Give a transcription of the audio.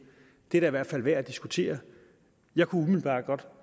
er da i hvert fald værd at diskutere jeg kunne umiddelbart godt